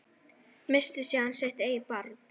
Missti síðan sitt eigið barn.